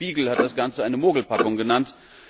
Der Spiegel hat das Ganze eine Mogelpackung genannt.